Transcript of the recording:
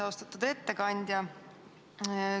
Austatud ettekandja!